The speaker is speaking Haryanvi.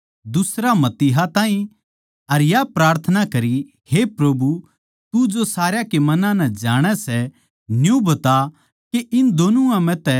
अर या प्रार्थना करी हे प्रभु तू जो सारया के मनां नै जाणै सै न्यू बता के इन दोनुआ म्ह तै किसनै छाट्टा